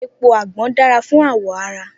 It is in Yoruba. Epo agbon dara fun awọ ara.